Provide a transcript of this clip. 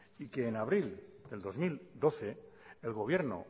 y que en abril del dos mil doce el gobierno